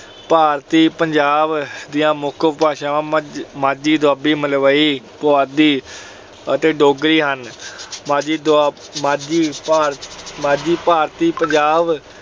ਭਾਰਤੀ ਪੰਜਾਬ ਦੀਆਂ ਮੁੱਖ ਉਪ ਭਾਸ਼ਾਵਾਂ ਮਜ ਅਹ ਮਾਝੀ, ਦੁਆਬੀ, ਮਲਵਈ, ਪੁਆਧੀ ਅਤੇ ਡੋਗਰੀ ਹਨ। ਮਾਝੀ ਦੁਆਬ ਅਹ ਮਾਝੀ ਭਾਰਤੀ ਪੰਜਾਬ